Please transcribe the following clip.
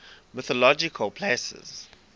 mythological places